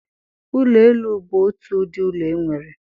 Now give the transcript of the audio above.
Ụlọ elu bụ otu ụdị ụlọ enwere.